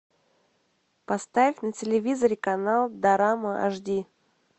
поставь на телевизоре канал дорама аш ди